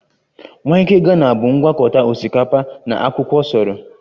Waakye ghana bụ ngwakọta osikapa na akwụkwọ soro